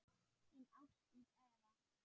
Þín Ásdís Eva.